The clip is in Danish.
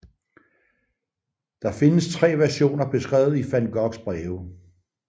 Der findes tre versioner beskrevet i Van Goghs breve